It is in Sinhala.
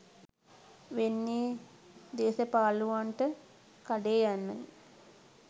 වෙන්නෙ දේසපාලුවන්ට කඩේ යන්නයි